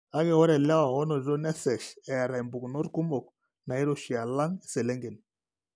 Kake, ore ilewa oonotito nesesh eeta impukunot kumok nairoshi alang' iselengen.